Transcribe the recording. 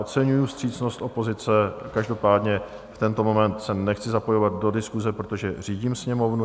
Oceňuji vstřícnost opozice, každopádně v tento moment se nechci zapojovat do diskuse, protože řídím Sněmovnu.